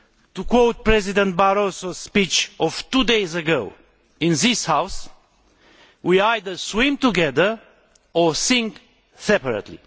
To quote President Barroso's speech of two days ago in this House, we either swim together or sink separately.'